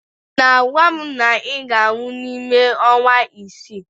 Ị na-agwa m na ị ga-anwụ n'ime ọnwa isii